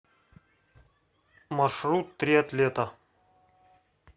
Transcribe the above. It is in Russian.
маршрут триатлета